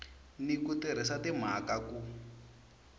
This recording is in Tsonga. ni ku tirhisa timhaka ku